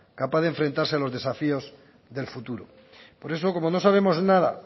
capaz de enfrentarse a los desafíos del futuro por eso como no sabemos nada